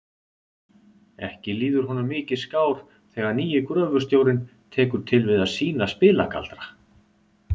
Ekki líður honum mikið skár þegar nýi gröfustjórinn tekur til við að sýna spilagaldra.